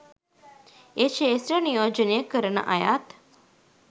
ඒ ක්‍ෂේත්‍ර නියෝජනය කරන අයත්